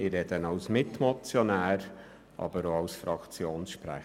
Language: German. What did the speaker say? Ich rede als Mitmotionär und als Fraktionssprecher.